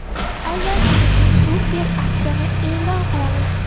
Aynan siz uchun super aksiyani e’lon qilamiz.